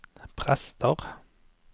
prester